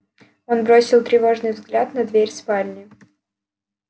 он бросил тревожный взгляд на дверь спальни